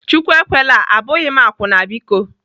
Chukwu ekwela! Abụghị m akwụna biko.